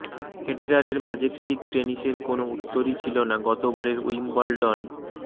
ফেডেরারের majestic টেনিসের কোনও উত্তরই ছিল না গতবারের উইম্বলডন